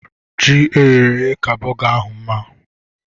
Ji eyere èyé ka burger ahụ mma